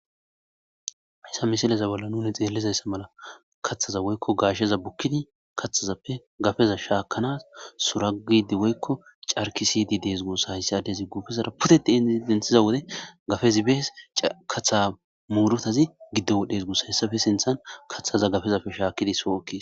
issa misileza balla nuni xeellezayssa mala kaththaza woykko gaashsheza bukkini kathazappe gafeza shaakanas suragidi woykko carkisidi dees goosa hayssadyazi guufezara puteti iidenthiza wode gafezi bees katha muurutazi giddo wodhesgoos hessafe sinthan kathaza gafezapfe shaakidi soo7okki